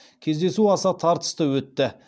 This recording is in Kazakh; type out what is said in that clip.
кездесу аса тартысты өтті